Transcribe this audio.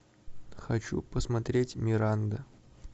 хочу посмотреть миранда